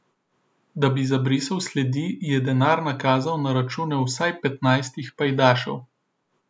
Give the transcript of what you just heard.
Da bi zabrisal sledi, je denar nakazal na račune vsaj petnajstih pajdašev.